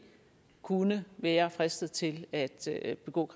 kunne være fristet til at at begå